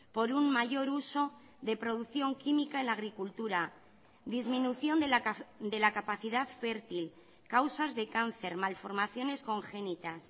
por un mayor uso de producción química en la agricultura disminución de la capacidad fértil causas de cáncer malformaciones congénitas